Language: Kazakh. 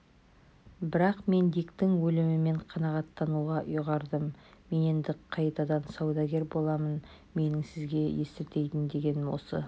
бірақ мен диктің өлімімен қанағаттануға ұйғардым мен енді қайтадан саудагер боламын менің сізге естіртейін дегенім осы